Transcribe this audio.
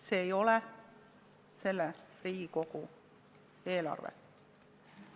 See ei ole selle Riigikogu eelarve.